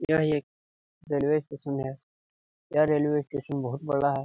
यह एक railway station है यह रेलवे स्टेशन बहुत बड़ा हैं।